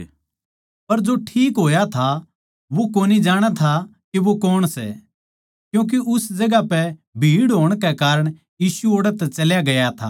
पर जो ठीक होया था वो कोनी जाणै था के वो कौण सै क्यूँके उस ठोड़ पै भीड़ होण कै कारण यीशु ओड़ै तै टहलग्या था